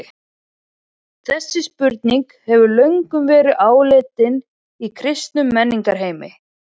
Þessi spurning hefur löngum verið áleitin í kristnum menningarheimi.